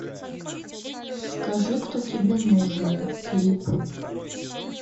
скажи кто тебе нужен клип